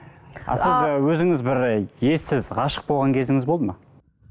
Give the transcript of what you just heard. сіз ы өзіңіз бір ессіз ғашық болған кезіңіз болды ма